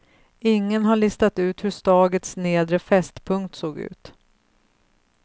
Ingen har listat ut hur stagets nedre fästpunkt såg ut.